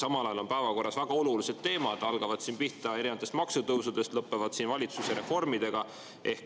Samal ajal on meil päevakorras väga olulised teemad, alates maksutõusudest ja lõpetades valitsuse reformidega.